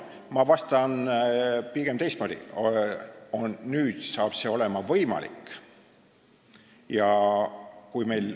Ma vastan pigem teistmoodi: nüüd saab see olema võimalik.